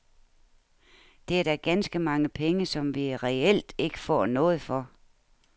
Det er da ganske mange penge som vi reelt ikke får noget for.